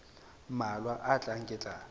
mmalwa a tlang ke tla